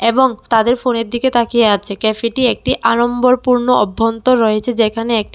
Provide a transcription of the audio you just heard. এবং তাদের ফোনের দিকে তাকিয়ে আছে ক্যাফেটি একটি আড়ম্বরপূর্ণ অভ্যন্তর রয়েছে যেখানে একটি--